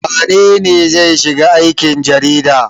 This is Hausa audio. Wane ne zai shiga aikin jarida?